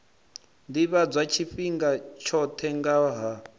ḓivhadzwa tshifhinga tshoṱhe nga ha